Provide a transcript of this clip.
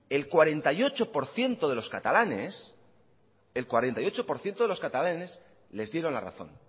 el cuarenta y ocho por ciento de los catalanes el cuarenta y ocho por ciento de los catalanes les dieron la razón